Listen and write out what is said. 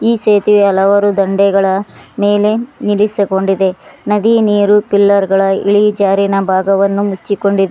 ಈ ಸೇತುವೆ ಹಲವಾರು ದಂಡೆಗಳ ಮೇಲೆ ನಿಲ್ಲಿಸಕೊಂಡಿದೆ ನದಿ ನೀರು ಪಿಲ್ಲರ್ ಗಳ ಇಳಿಜಾರಿನ ಭಾಗವನ್ನು ಮುಚ್ಚಿಕೊಂಡಿ --